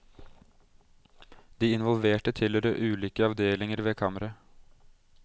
De involverte tilhører ulike avdelinger ved kammeret.